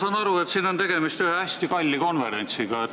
Ma saan aru, et siin on tegemist ühe hästi kalli konverentsiga.